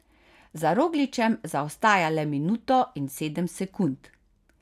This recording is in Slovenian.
Za Rogličem zaostaja le minuto in sedem sekund.